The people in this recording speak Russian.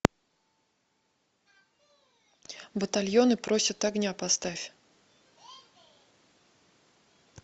батальоны просят огня поставь